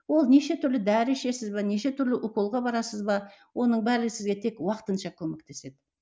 ол нешетүрлі дәрі ішесіз бе нешетүрлі уколға барасыз ба оның бәрі сізге тек уақытынша көмектеседі